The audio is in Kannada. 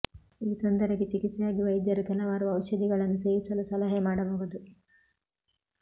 ಈ ತೊಂದರೆಗೆ ಚಿಕಿತ್ಸೆಯಾಗಿ ವೈದ್ಯರು ಕೆಲವಾರು ಔಷಧಿಗಳನ್ನು ಸೇವಿಸಲು ಸಲಹೆ ಮಾಡಬಹುದು